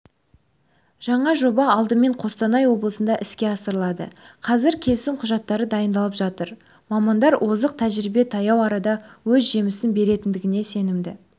жаңа жоба алдымен қостанай облысында іске асырылады қазір келісім құжаттары дайындалып жатыр мамандар озық тәжірибе таяу арада өз жемісін беретіндігіне сенімді